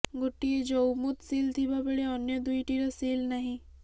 ଗୋଟିଏ ଜଉମୁଦ ସିଲ ଥିବା ବେଳେ ଅନ୍ୟ ଦୁଇଟିର ସିଲ୍ ନାହିଁ